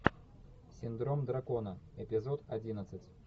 синдром дракона эпизод одиннадцать